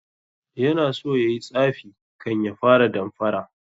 Yana so yayi tsafi kan ya fara damfara